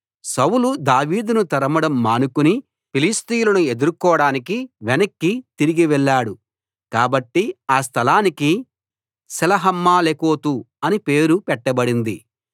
సౌలు దావీదును తరమడం మానుకుని ఫిలిష్తీయులను ఎదుర్కొనడానికి వెనక్కి తిరిగి వెళ్ళాడు కాబట్టి ఆ స్థలానికి సెలహమ్మలెకోతు అని పేరు పెట్టబడింది